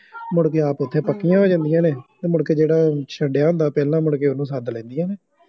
ਮੁੜਕੇ ਆਪ ਉੱਥੇ ਪੱਕੀਆ ਹੋ ਜਾਂਦੀਆਂ ਨੇ, ਮੁੜਕੇ ਜਿਹੜਾ ਉਹ ਛੱਡਿਆਂ ਹੁੰਦਾ ਪਹਿਲਾਂ ਮੁੜਕੇ ਉਹਨੂੰ ਸੱਦ ਲੈਂਦੀਆਂ ਨੇ